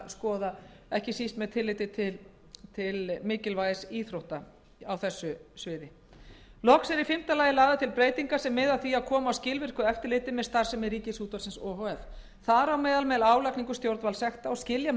skoða sérstaklega ekki síst með tilliti til mikilvægis íþrótta á þessu sviði loks eru í fimmta lagi lagðar til breytingar sem miða að því að koma á skilvirku eftirliti með starfsemi ríkisútvarpsins o h f þar á meðal með álagningu stjórnvaldssekta og skilja með